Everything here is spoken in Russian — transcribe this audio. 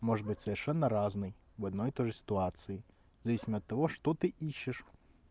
может быть совершенно разной в одно и то же ситуации зависимо от того что ты ищешь